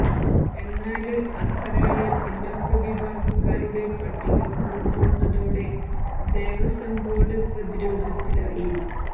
എന്നാല് അര്ഹരായ പിന്നാക്ക വിഭാഗക്കാരുടെ പട്ടിക പുറത്തുവന്നതോടെ ദേവസ്വം ബോര്ഡ് പ്രതിരോധത്തിലായി